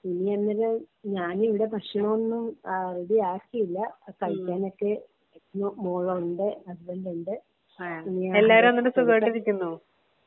.ഞാൻ ഇന്നലെ ഞാൻ ഇവിടെ ഭക്ഷണം ഒന്നും റെഡി ആക്കിയില്ല കഴിക്കാൻ ഒക്കെ മോളുണ്ട് ഹസ്ബന്റ് ഉണ്ട് *നോട്ട്‌ ക്ലിയർ*.